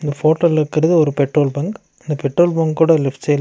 இந்த போட்டோல இருக்குறது ஒரு பெட்ரோல் பங்க் . இந்த பெட்ரோல் பங்க்கோட லெஃப்ட் சைடுல --